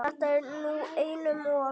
Þetta er nú einum of!